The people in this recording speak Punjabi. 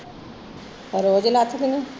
ਉਹ ਰੋਜ਼ ਲੱਥਦੀ ਆ